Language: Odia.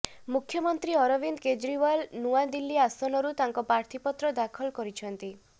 ମୁଖ୍ୟମନ୍ତ୍ରୀ ଅରବିନ୍ଦ କେଜରିୱାଲ୍ ନୂଆଦିଲ୍ଲୀ ଆସନରୁ ତାଙ୍କ ପ୍ରାର୍ଥୀପତ୍ର ଦାଖଲ କରିଛନ୍ତି